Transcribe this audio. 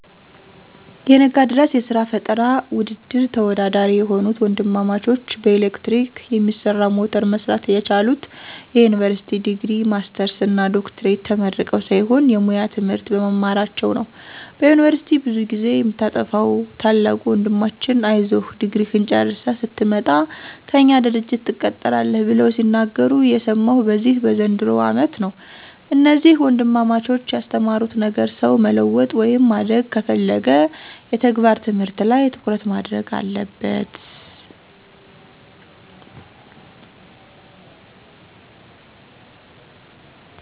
የነጋድራስ የስራ ፈጠራ ውድድር ተወዳዳሪ የሆኑት ወንድማማቾች በኤሌክትሪክ የሚሰራ ሞተር መስራት የቻሉት የዩኒቨርሲቲ ዲግሪ፣ ማስተርስ እና ዶክትሬት ተመርቀው ሳይሆን የሙያ ትምህርት በመማራቸው ነው። በዩኒቨርስቲ ብዙ ጊዜ የምታጠፋዉ ታላቁ ወንድማችን አይዞህ ድግሪህን ጨርሰህ ስትመጣ ከእኛ ድርጅት ትቀጠራለህ ብለው ሲናገሩ የሰማሁት በዚህ በዘንድሮው አመት ነው። እነዚህ ወንድማማቾች ያስተማሩት ነገር ሰው መለወጥ ወይም ማደግ ከፈለገ የተግባር ትምህርት ላይ ትኩረት ማድረግ አለበት።